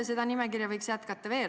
Seda nimekirja võiks jätkata veel.